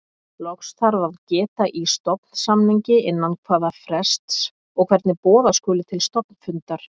Loks þarf að geta í stofnsamningi innan hvaða frests og hvernig boða skuli til stofnfundar.